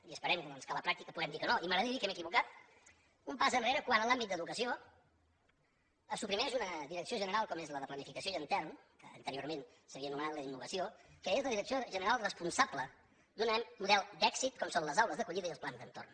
i esperem doncs que a la pràctica puguem dir que no i m’agradaria dir que m’he equivocat un pas enrere quan en l’àmbit d’educació se suprimeix una direcció general com és la de planificació i entorn que anteriorment s’havia anomenat la d’innovació que és la direcció general responsable d’un model d’èxit com són les aules d’acollida i els plans d’entorn